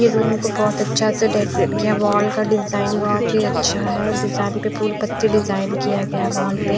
ये रूम को बहुत अच्छा से डेकोरेट कियावॉल का डिजाइन बहुत ही अच्छा हैडिजाइन पे फूल-पत्ती डिजाइन किया गया है वॉल पे--